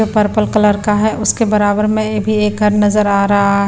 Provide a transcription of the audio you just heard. Purple colour का है उसके बराबर में भी एकर नजर आ रहा है।